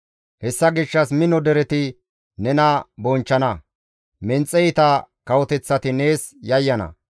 Hessa gishshas mino dereti nena bonchchana; menxe iita kawoteththati nees yayyana.